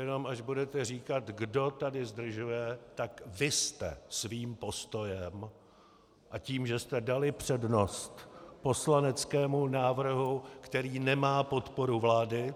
Jenom až budete říkat, kdo tady zdržuje, tak vy jste svým postojem a tím, že jste dali přednost poslaneckému návrhu, který nemá podporu vlády,